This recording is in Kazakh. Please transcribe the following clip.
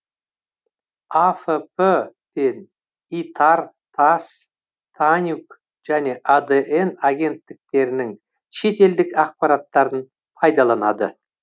афп пен итар тасс танюг және адн агенттіктерінің шетелдік ақпараттарын пайдаланады